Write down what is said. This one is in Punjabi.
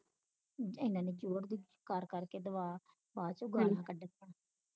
ਇਨੀ ਇਨੀ ਜੋਰ ਦੀ ਕਰਕੇ ਦਵਾ ਬਾਅਦ ਵਿਚ ਗਾਲਾਂਕੱਢਣੀਆਂ